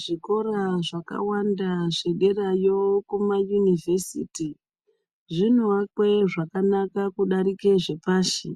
Zvikora zvakawanda zvederayo kumayunivhesiti, zvinoakwe zvakanaka kudarike zvepashi,